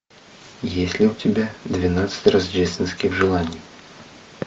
есть ли у тебя двенадцать рождественских желаний